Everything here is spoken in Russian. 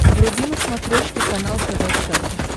вруби на смотрешке канал тв центр